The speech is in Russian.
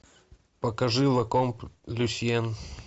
покажи лакомб люсьен